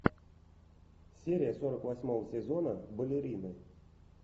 серия сорок восьмого сезона балерины